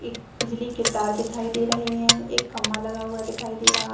एक बिजली के तार दिखाई दे रहे हैं एक खम्मा लगा हुआ दिखाई दे रहा --